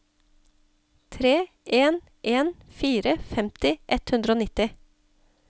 tre en en fire femti ett hundre og nitti